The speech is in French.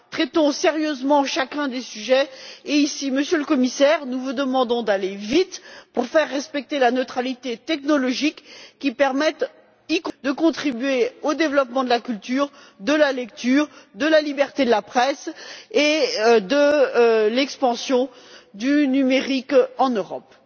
Traitons sérieusement chacun des sujets et ici, Monsieur le Commissaire, nous vous demandons d'aller vite pour faire respecter la neutralité technologique qui permette notamment de contribuer au développement de la culture, de la lecture, de la liberté de la presse et de l'expansion du numérique en Europe.